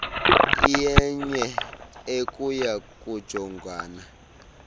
iyenye ekuya kujongwana